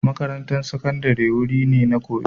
Makarantar Sakandare wuri ne na koyo